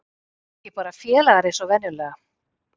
Ekki bara félagar eins og venjulega.